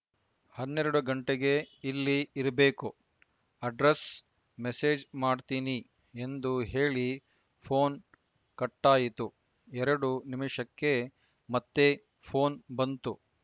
ಹನ್ನರೆಡು ಗಂಟೆಗೆ ಇಲ್ಲಿ ಇರ್ಬೇಕು ಅಡ್ರೆಸ್‌ ಮೆಸೇಜ್‌ ಮಾಡ್ತೀನಿ ಎಂದು ಹೇಳಿ ಪೋನ್‌ ಕಟ್ಟಾಯಿತು ಎರಡು ನಿಮಿಷಕ್ಕೆ ಮತ್ತೆ ಪೋನ್‌ ಬಂತು